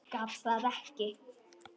Gat það ekki.